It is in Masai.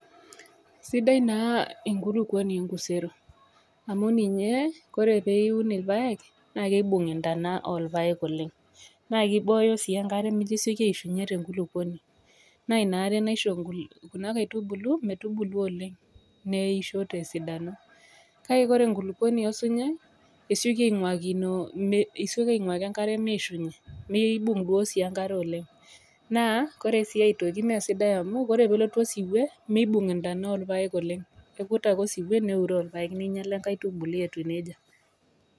Sidai naa enkurupuoni enkusero, amu ninye, ore pee iun irpaek naa kibung intona orpaek oleng, na kiboyo si enkare pemesioki aishunye tenkulupuoni, naa ina are naisho kuna kaitubulu metubulu oleng neisho tesidano. Kake ore enkulupuoni osinyai nesioki ainguaki enkare meishunye, meibung sii enkare elong naa oresi aitoki mesidai amau ore pelotu osiuo meibung ntona orpaek oleng. Kekut ake osiwuo neuro irpaek neinyala enkaitubulu etiu neija